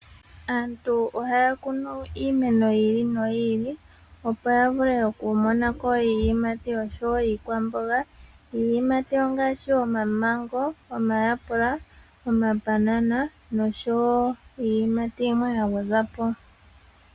Aantu ohaya kunu iimeno yi ili noyiili opo ya vule okumona iiyimati oshowo iikwaamboga. Iiyimati ongaashi omamengo, omayapula, omambanana oshowo iiyimati yilwe ya gwedhwa po.